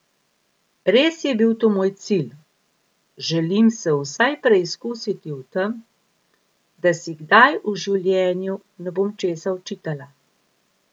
Res je bil to moj cilj, želim se vsaj preizkusiti v tem, da si kdaj v življenju ne bom česa očitala.